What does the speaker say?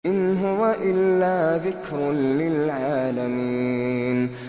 إِنْ هُوَ إِلَّا ذِكْرٌ لِّلْعَالَمِينَ